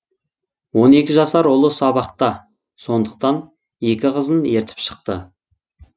он екі жасар ұлы сабақта сондықтан екі қызын ертіп шықты